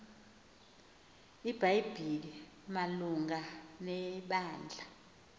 ibhayibhile malunga nebandla